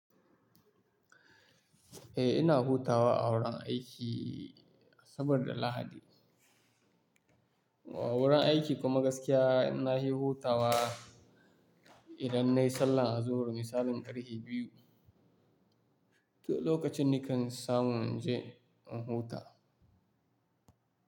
Eh ina hutawa a wurin aiki Asabar da Lahadi. O wurin aiki kuma gaskiya na yi hutawa idan nayi sallah azuhur misalin ƙarfe biyu. To lokacin nikan samu in je in huta.